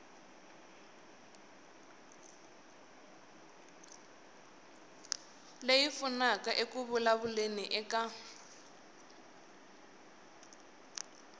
leyi pfunaka eku vulavuleni eka